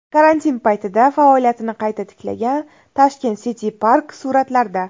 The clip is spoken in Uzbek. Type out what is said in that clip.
Karantin paytida faoliyatini qayta tiklagan Tashkent City Park suratlarda.